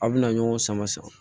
A bɛna ɲɔgɔn sama san